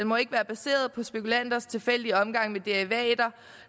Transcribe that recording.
må ikke være baseret på spekulanters tilfældige omgang med derivater